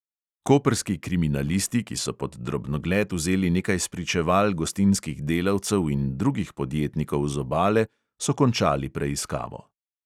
Koprski kriminalisti, ki so pod drobnogled vzeli nekaj spričeval gostinskih delavcev in drugih podjetnikov z obale, so končali preiskavo.